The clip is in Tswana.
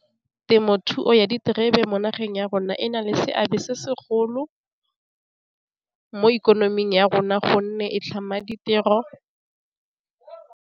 Temothuo ya diterebe mo nageng ya rona e na le seabe se segolo mo ikonoming ya rona gonne e tlhama ditiro.